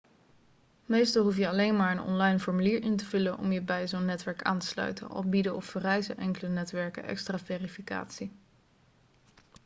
meestal hoef je alleen maar een online formulier in te vullen om je bij zo'n netwerk aan te sluiten al bieden of vereisen enkele netwerken extra verificatie